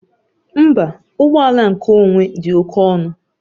Mba, ụgbọ ala nkeonwe dị oke ọnụ